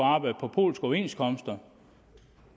polske overenskomster